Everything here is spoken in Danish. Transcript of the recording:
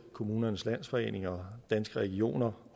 kommunernes landsforening og danske regioner